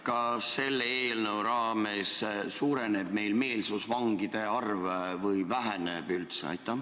Kas selle eelnõu raames suureneb meil meelsusvangide arv või hoopis väheneb?